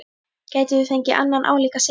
Gætum við fengið annan álíka sigur?